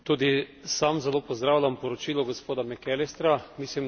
Tudi sam zelo pozdravljam poročilo gospoda McAllistra.